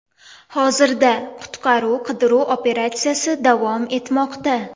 Hozirda qutqaruv-qidiruv operatsiyasi davom etmoqda.